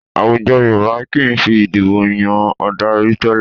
Àwùjọ Yorùbá kì í fi ìdibò yan adarí tẹ́lẹ̀